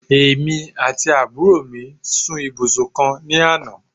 èmi ati aburo mi sun ibusun kan ni Ana